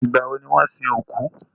Ìgbà wọ ni wọ́n sin òkú?